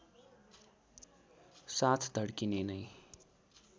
साथ धड्किने नै